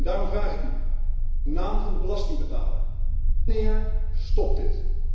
En daarom vraag ik u, uit naam van de belastingbetaler wanneer stopt dit?